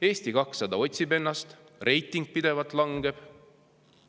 Eesti 200 otsib ennast, tema reiting pidevalt langeb.